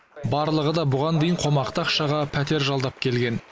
барлығы да бұған дейін қомақты ақшаға пәтер жалдап келген